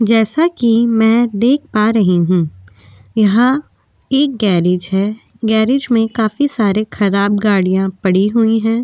जैसा की में देख पा रही हूँ यहा एक गेरेज है गरेज में काफी सारे खराब गाड़ीया पडी हुई है।